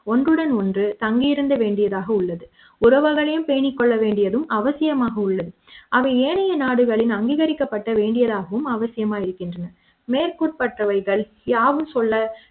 ஒன்றுடன் ஒன்று தங்கியிருந்த வேண்டியதாக உள்ளது உறவுகளையும் பேணிக் கொள்ள வேண்டியதும் அவசியமாக உள்ளது அவை ஏனைய நாடுகளின் அங்கீகரிக்கப்பட்ட வேண்டியதாகும் அவசியமாக இருக்கின்றன மேற்கூறப்பட்டவைகள் யாவும் சொல்ல